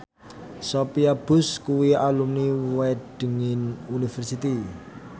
Sophia Bush kuwi alumni Wageningen University